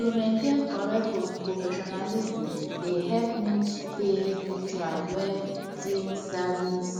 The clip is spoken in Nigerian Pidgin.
to maintain correct professionalism dey help me stay neutral when civil service